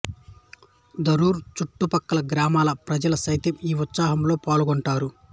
ధరూర్ చుట్టు ప్రక్కల గ్రామాల ప్రజలు సైతం ఈ ఉత్సవాలలో పాల్గొంటారు